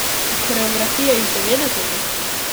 Koreografije iz devetdesetih?